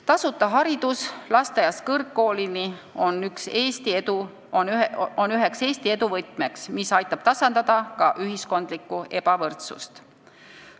Tasuta haridus lasteaiast kõrgkoolini on üks Eesti edu võtmeid, mis aitab tasandada ka ühiskondlikku ebavõrdsust.